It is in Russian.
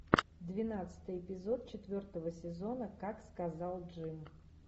двенадцатый эпизод четвертого сезона как сказал джим